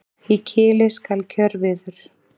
Í kili skal kjörviður.